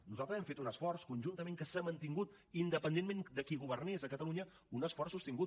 nosaltres hem fet un esforç conjuntament que s’ha mantingut independentment de qui governés a catalunya un esforç sostingut